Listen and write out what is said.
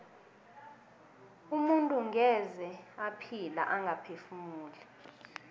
umuntu ngeze ephila angaphefumuli